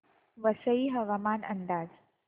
वसई हवामान अंदाज